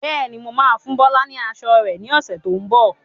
Bẹ́ẹ̀ni, mo máa fún Bọlá ni aṣọ rẹ ni ọ̀sẹ̀ tó ń bọ̀.